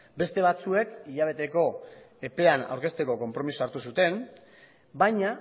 beste batzuek hilabeteko epean aurkezteko konpromisoa hartu zuten baina